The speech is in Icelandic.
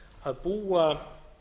að búa